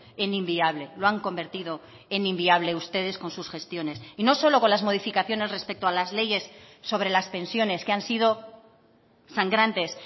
en inviable lo han convertido en inviable ustedes con sus gestiones y no solo con las modificaciones respecto a las leyes sobre las pensiones que han sido sangrantes